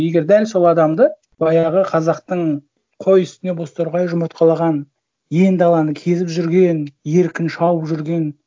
егер дәл сол адамды баяғы қазақтың қой үстіне бозторғай жұмыртқалаған ен даланы кезіп жүрген еркін шауып жүрген